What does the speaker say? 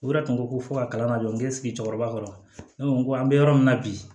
O yɛrɛ tun ko ko fo ka kalan ka jɔ n bɛ sigi cɛkɔrɔba kɔrɔ ne ko n ko an bɛ yɔrɔ min na bi